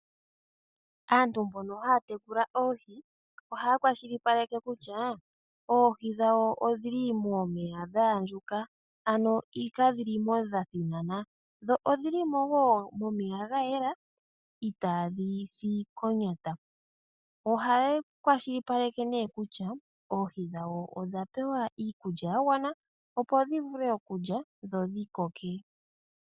Aantu mbono haya tekula oohi ohaya kwashilipaleke kutya oohi dhawo odhi li momeya dha andjuka, ano ka dhi li mo dha thinana. Dho odhili mo wo momeya ga yela itaadhi si konyata. Ohaya kwashilipaleke nee kutya oohi dhawo odha pewa iikulya ya gwana opo dhi vule okulya dho dhi koke.